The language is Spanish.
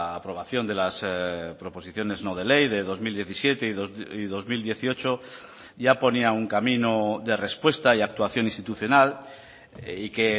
aprobación de las proposiciones no de ley de dos mil diecisiete y dos mil dieciocho ya ponía un camino de respuesta y actuación institucional y que